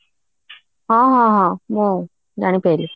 ହଁ ହଁ ହଁ ମୁଁ ଜାଣି ପାରିଲି